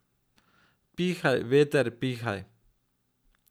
Pihaj, veter, pihaj.